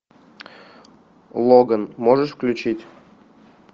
логан можешь включить